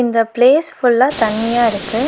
இந்த பிளேஸ் ஃபுல்லா தண்ணியா இருக்கு.